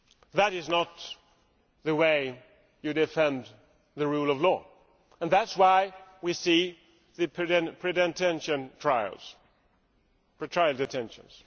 That is not the way you defend the rule of law, and that is why we see the pre trial detentions.